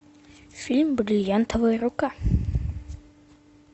фильм бриллиантовая рука